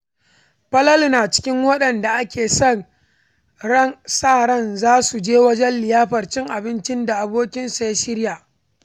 Falalu na cikin waɗanda ake sa ran za su je wajen liyafar cin abincin da abokinsa ya shirya.